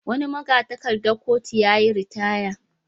Wani maga-takardar kotu ya yi ritaya.